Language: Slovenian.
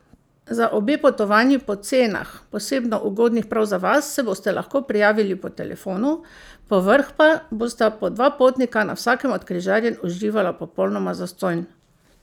Za obe potovanji po cenah, posebno ugodnih prav za vas, se boste lahko prijavili po telefonu, povrhu pa bosta po dva potnika na vsakem od križarjenj uživala popolnoma zastonj!